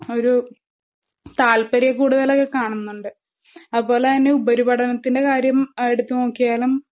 ഒരൂ താല്പര്യക്കൂടുതലൊക്കെ കാണുന്നുണ്ട്. അപോലെതന്നെ ഉപരിപഠനത്തിന്റെ കാര്യം എടുത്ത്നോക്കിയാലും